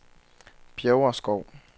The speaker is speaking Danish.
Bjæverskov